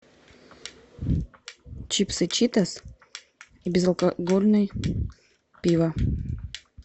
чипсы читос и безалкогольный пиво